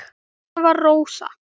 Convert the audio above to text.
Svona var Rósa.